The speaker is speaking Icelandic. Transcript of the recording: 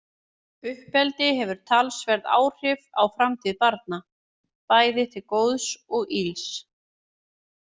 Uppeldi hefur talsverð áhrif á framtíð barna, bæði til góðs og ills.